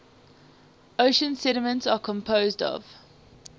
ocean sediments are composed of